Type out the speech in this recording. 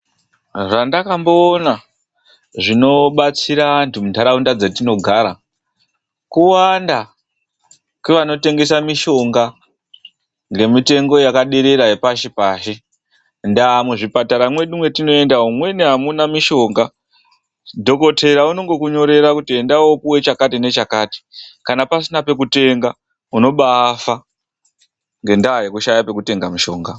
Zvandakamboona zvinobatsira andu munharaunda dzetinogara ,kuwanda kwevanotengesa mushonga ngemutengu yakaderera yepashi pashi, ndaaa muzvipatara mwedu mwetinoenda mumweni amuna mushonga dhokotera unongokunyorera kut enda woopuwa chakati nechakati kana pasina pekutenga unobaafa ngendaa yekushaya pekutenga mushonga.